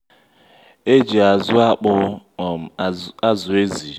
e ji azụ́ akpụ um azụ̀ ézi.